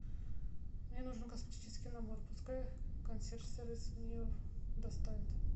мне нужен косметический набор пускай консьерж сервис мне его доставит